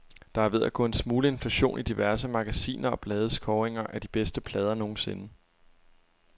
Der er ved at gå en smule inflation i diverse magasiner og blades kåringer af de bedste plader nogensinde.